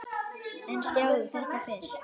En sjáðu þetta fyrst!